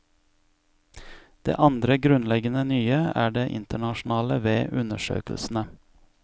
Det andre grunnleggende nye er det internasjonale ved undersøkelsene.